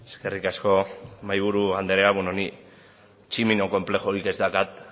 eskerrik asko mahaiburu andrea beno ni tximino konplexurik ez daukat